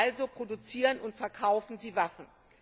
Also produzieren und verkaufen sie Waffen.